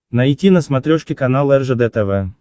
найти на смотрешке канал ржд тв